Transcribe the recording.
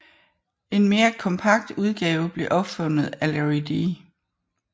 En mere kompakt udgave blev opfundet af Larry D